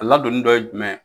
Ala ladonni dɔ ye jumɛn ye